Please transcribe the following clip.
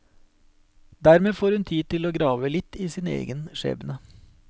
Dermed får hun tid til å grave litt i sin egen skjebne.